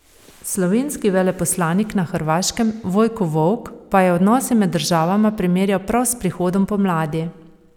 Slovenski veleposlanik na Hrvaškem Vojko Volk pa je odnose med državama primerjal prav s prihodom pomladi.